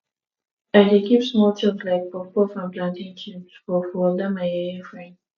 i dey keep small chops like puffpuff and plantain chips for for dat my yeye frend